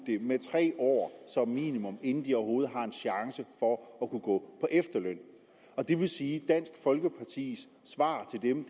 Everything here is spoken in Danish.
med tre år som minimum inden de overhovedet har en chance for at kunne gå på efterløn det vil sige at dansk folkepartis svar til dem